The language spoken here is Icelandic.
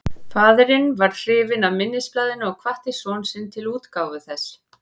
Faðirinn varð hrifinn af minnisblaðinu og hvatti son sinn til útgáfu þess.